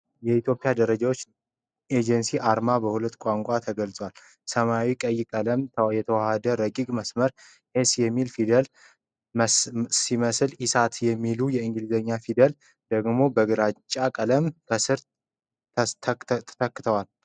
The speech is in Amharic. የኢትዮጵያ ደረጃዎች ኤጀንሲ አርማ (ሎጎ) በሁለት ቋንቋዎች ተገልጿል። ሰማያዊና ቀይ ቀለማት የተዋሀዱበት ረቂቅ መስመር “S” የሚለውን ፊደል ሲመስል፣ “ESA” የሚሉት የእንግሊዝኛ ፊደላት ደግሞ በግራጫ ቀለም ከስር ተከትለዋል።